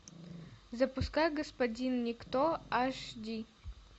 запускай господин никто аш ди